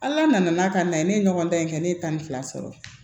Ala nana n'a ka na ye ne ye ɲɔgɔn dan in kɛ ne ye tan ni fila sɔrɔ